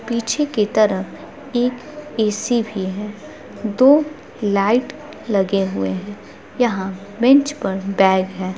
पीछे के तरफ एक ए.सी भी है दो लाइट लगे हुए है यहाँ बेंच पर बैग है।